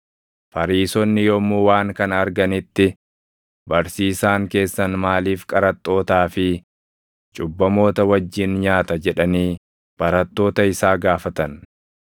Fariisonni yommuu waan kana arganitti, “Barsiisaan keessan maaliif qaraxxootaa fi cubbamoota wajjin nyaata?” jedhanii barattoota isaa gaafatan.